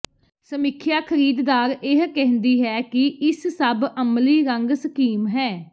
ਸਮੀਖਿਆ ਖਰੀਦਦਾਰ ਇਹ ਕਹਿੰਦੀ ਹੈ ਕਿ ਇਸ ਸਭ ਅਮਲੀ ਰੰਗ ਸਕੀਮ ਹੈ